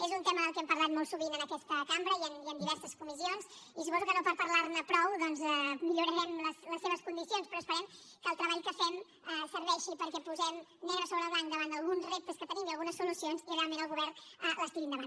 és un tema de què hem parlat molt sovint en aquesta cambra i en diverses comissions i suposo que no per parlar ne prou doncs millorarem les seves condicions però esperem que el treball que fem serveixi perquè posem negre sobre blanc davant d’alguns reptes que tenim i algunes solucions i realment el govern les tiri endavant